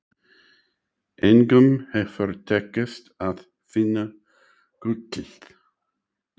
Engum hefur tekist að finna gullið.